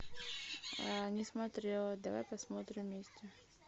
не смотрела давай посмотрим вместе